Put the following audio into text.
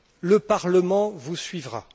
Le Parlement vous suivra.